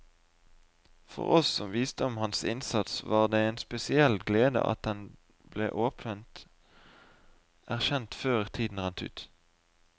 For oss som visste om hans innsats, var det en spesiell glede at den ble åpent erkjent før tiden rant ut.